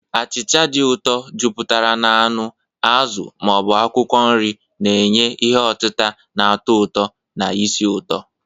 Achịcha dị ụtọ, jupụtara na anụ, azụ, ma ọ bụ akwụkwọ nri, na-enye ihe otita na-atọ ụtọ na esi ụtọ.